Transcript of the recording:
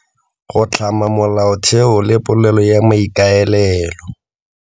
Go tlhama molaotheo le polelo ya maikaelelo.